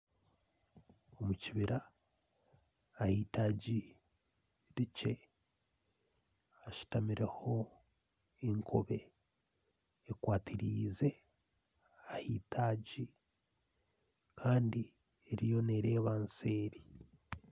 Omu kibira aha eitaagi rikye hashutamireho enkobe ekwatiriize ah'eitaagi, kandi eriyo nereeba seeri.